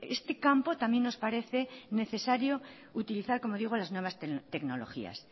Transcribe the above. este campo también nos parece necesario utilizar como digo las nuevas tecnologías